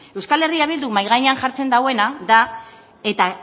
euskal herria bilduk mahai gainean jartzen dauena da eta